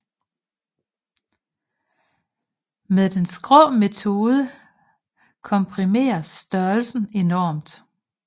Med den skrå metode komprimeres størrelsen enormt